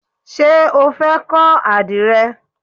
Ṣé o fẹ́ kọ́ àdìrẹ?